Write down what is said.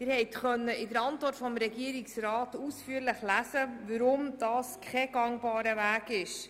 In der Regierungsantwort haben Sie ausführlich lesen können, weshalb das kein gangbarer Weg ist.